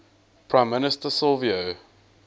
prime minister silvio